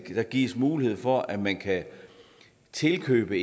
der gives mulighed for at man kan tilkøbe